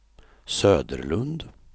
Söderlund